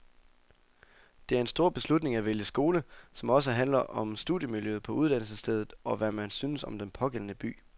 Det er en stor beslutning at vælge skole, som også handler om studiemiljøet på uddannelsesstedet, og hvad man synes om den pågældende by.